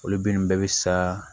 Olu bin bɛɛ bɛ sa